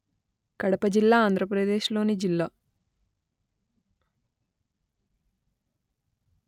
కడప జిల్లా ఆంధ్రప్రదేశ్ లోని జిల్లా